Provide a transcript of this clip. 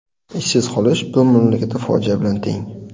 Ishsiz qolish bu mamlakatda fojia bilan teng.